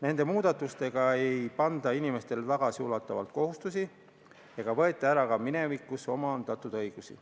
Nende muudatustega ei panda inimestele tagasiulatuvalt kohustusi ega võeta ära minevikus omandatud õigusi.